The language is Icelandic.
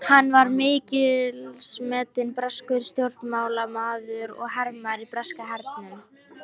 Hann var mikilsmetinn breskur stjórnmálamaður og hermaður í breska hernum.